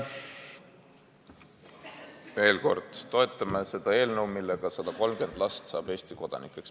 Veel kord: me toetame seda eelnõu, mille abil 130 last saab Eesti kodanikuks.